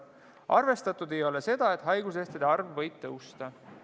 Arvestatud ei ole seda, et haiguslehtede arv võib suureneda.